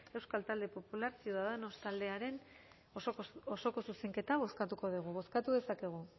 euskal talde popular ciudadanos taldearen osoko zuzenketa bozkatuko dugu bozkatu dezakegu